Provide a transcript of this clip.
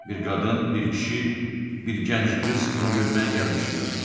Bir qadın, bir kişi, bir gənc qız onu görməyə gəlmişdilər.